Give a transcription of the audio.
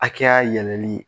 hakɛya yɛlɛli